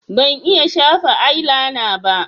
Ban iya shafa ailaina ba